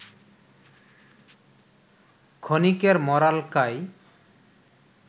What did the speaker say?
ক্ষনিকের মরালকায়